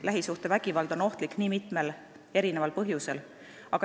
Lähisuhtevägivald on ohtlik mitmel põhjusel.